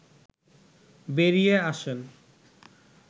বেরিয়ে আসেন